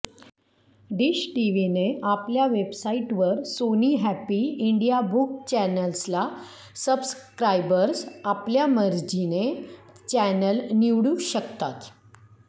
dish टीव्हीने आपल्या वेबसाइटवर सोनी हॅप्पी इंडिया बुक चॅनेल्सला सब्सक्रायबर्स आपल्या मर्जीने चॅनेल निवडू शकतात